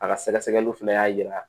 A ka sɛgɛsɛgɛliw fana y'a yira